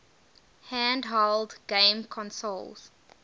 handheld game consoles